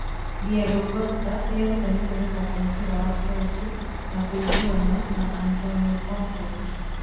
Diego Costa nĩ erutanĩirie gũthaaka mũbira wa Chelsea na kũiguana na Antonio Conte (Star).